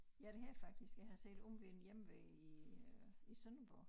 Ja det har jeg faktisk jeg har set Omve'n Hjemve i øh i Sønderborg